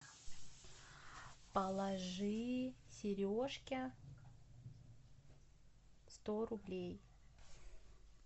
положи сережке сто рублей